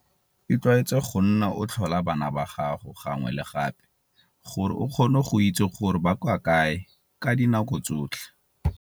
Itlwaetse go nna o tlhola bana ba gago gangwe le gape, gore o kgone go itse gore ba kwa kae ka dinako tsotlhe.